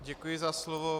Děkuji za slovo.